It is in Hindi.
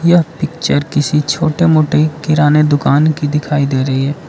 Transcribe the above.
यह पिक्चर किसी छोटे मोटे किराने दुकान की दिखाई दे रही है।